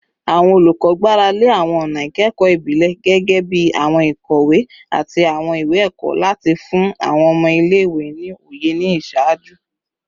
Awọn olukọ gbarale awọn ọna ikẹkọ ibile, gẹgẹbi awọn ikowe ati awọn iwe-ẹkọ, lati fun awọn ọmọ ile-iwe ni oye ni iṣaaju